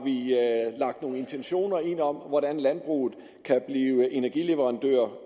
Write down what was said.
lagt nogle intentioner ind om hvordan landbruget kan blive energileverandør